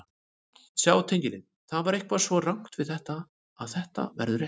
Sjá tengil Það er eitthvað svo rangt við þetta að þetta verður rétt.